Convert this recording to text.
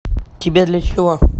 тебе для чего